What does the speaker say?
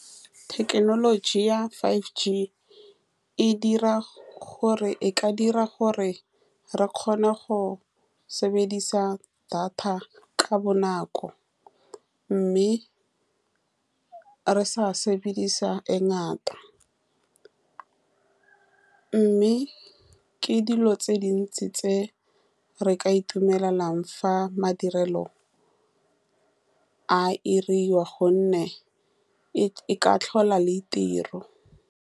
Thekenoloji ya five G e dira , gore e ka dira gore re kgone go sebedisa data ka bonako, mme re sa sebedisa e ngata, mme ke dilo tse dintsi tse re ka itumelelang fa madirelo a diriwa, ka gonne e-e ka tlhola le tiro.